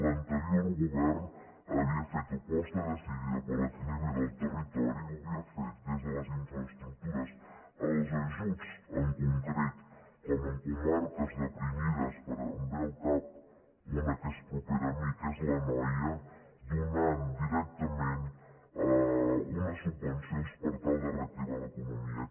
l’anterior govern havia fet aposta decidida per l’equilibri del territori ho havia fet des de les infraestructures als ajuts en concret com en comarques deprimides em ve al cap una que és propera a mi que és l’anoia donant directament unes subvencions per tal de reactivar l’economia